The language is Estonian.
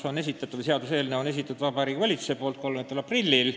Eelnõu esitas Vabariigi Valitsus 30. aprillil.